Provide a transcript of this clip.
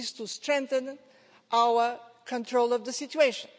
This is to strengthen our control of the situation.